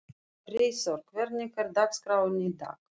Freyþór, hvernig er dagskráin í dag?